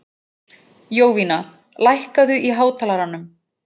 Jovina, lækkaðu í hátalaranum.